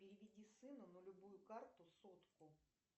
переведи сыну на любую карту сотку